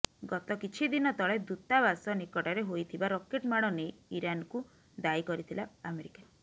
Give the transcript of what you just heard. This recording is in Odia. ଗତ କିଛି ଦିନ ତଳେ ଦୂତାବାସ ନିକଟରେ ହୋଇଥିବା ରକେଟ ମାଡ ନେଇ ଇରାନକୁ ଦାୟୀ କରିଥିଲା ଆମେରିକା